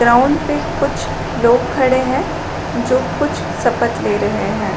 Ground पे कुछ लोग खड़े है जो कुछ सपथ ले रहै हैं।